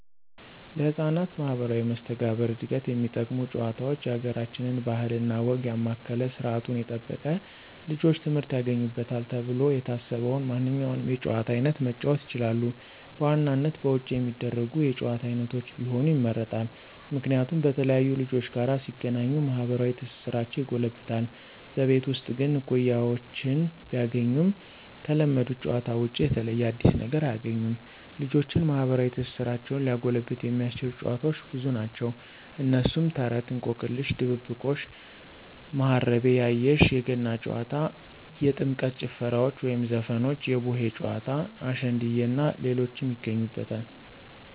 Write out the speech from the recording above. ለህፃናት ማህበራዊ መስተጋብር ዕድገት የሚጠቅሙ ጭዋታውች የአገራችንን ባህል እና ወግ ያማከለ ስርዓቱን የጠበቀ ልጆች ትምህርት ያገኙበታል ተብሎ የታሰበውን ማንኛውንም የጨዋታ አይነት መጫወት ይችላሉ። በዋናነት በውጭ የሚደረጉ የጭዋታ አይነቶች ቢሆኑ ይመረጣል። ምክንያቱም በተለያዩ ልጆች ጋር ሲገናኙ ማህበራዊ ትስስራቸው ይጎለብታል። በቤት ውስጥ ግን እኩያወችን ቢያገኙም ከለመዱት ጨዋታዎች ውጭ የተለየ አዲስ ነገር አያግኙም። ልጆችን ማህበራዊ ትስስራቸውን ሊያጎለብት የሚያስችሉ ጨዋታዎች ብዙ ናቸው። እነሱም፦ ተረት፣ እንቆቅልሽ፣ ድብብቆሽ፣ ማሀረቤ ያየሽ፣ የገና ጨዋታ፣ የጥምቀት ጭፈራዎች ወይም ዘፈኖች፣ የቡሄ ጨዋታ፣ አሸንድየ እናንተ ሌሎችን ይገኙበታል።